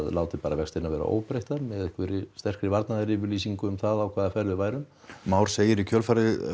látið bara vextina vera óbreytta með einhverri sterkri varnaðaryfirlýsingu um það á hvaða ferð við værum Már segir í kjölfarið